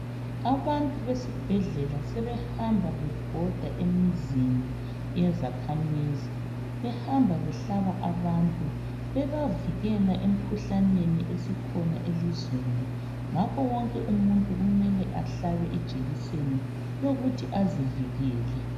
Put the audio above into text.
Abantu besibhedlela sebehamba bebhoda emizinibyezakhamizi behamba behlaba abantu bebavikela emkhuhlaneni esikhona elizweni ngakho wonke umuntu kumele ahlabe ijekiseni yokuthi azivikele.